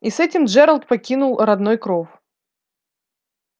и с этим джералд покинул родной кров